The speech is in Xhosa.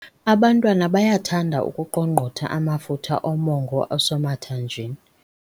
Abantwana bayathanda ukuqongqotha amafutha omongo osemathanjeni.